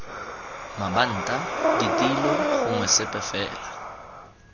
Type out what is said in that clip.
mabanta ditilo gongwe sepe fela